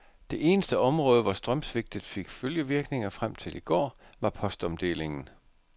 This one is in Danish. Det eneste område, hvor strømsvigtet fik følgevirkninger frem til i går, var postomdelingen.